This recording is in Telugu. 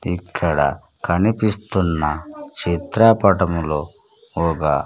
ఇక్కడ కనిపిస్తున్న చిత్రపటములో ఒగ--